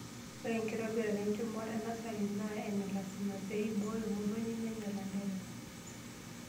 Ore enkitobirata enchumata enasari naa ene lasima, pee ibooyo motonyi menya ilanterera.